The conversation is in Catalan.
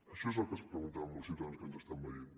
això és el que es preguntaran molts ciutadans que ens estan veient